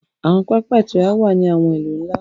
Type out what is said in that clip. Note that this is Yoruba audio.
Àwọn pápá ìtura wá ní àwọn ilú nlá